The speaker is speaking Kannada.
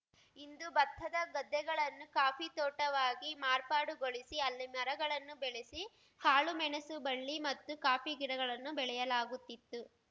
ಇಂದು ಬತ್ತದ ಗದ್ದೆಗಳನ್ನು ಕಾಫಿ ತೋಟವಾಗಿ ಮಾರ್ಪಾಡುಗೊಳಿಸಿ ಅಲ್ಲಿ ಮರಗಳನ್ನು ಬೆಳೆಸಿ ಕಾಳುಮೆಣಸು ಬಳ್ಳಿ ಮತ್ತು ಕಾಫಿಗಿಡಗಳನ್ನು ಬೆಳೆಯಲಾಗುತ್ತಿತ್ತು